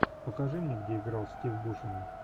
покажи мне где играл стив бушеми